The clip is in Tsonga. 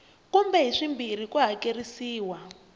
kumbe hi swimbirhi ku hakerisiwa